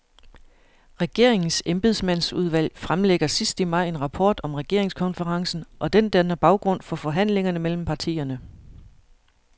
Regeringens embedsmandsudvalg fremlægger sidst i maj en rapport om regeringskonferencen, og den danner baggrund for forhandlingerne mellem partierne.